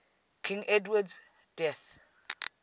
king edward's death